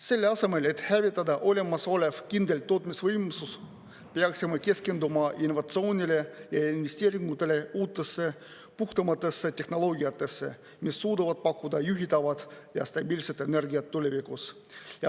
Selle asemel, et hävitada olemasolev kindel tootmisvõimsus, peaksime keskenduma innovatsioonile ja investeeringutele uutesse puhtamatesse tehnoloogiatesse, mis suudavad pakkuda juhitavat ja stabiilset energiat tulevikus.